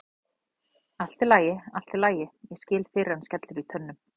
Allt í lagi, allt í lagi, ég skil fyrr en skellur í tönnum.